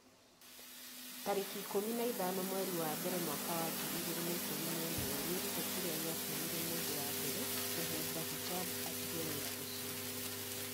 tarĩki ikũmi na ithano mweri wa mbere mwaka wa ngiri igĩrĩ na ikũmi na ĩmweWĩrute kĩrĩa gĩatũmire mũndũ wa mbere kũhumba hijab 'atige wĩra ũcio.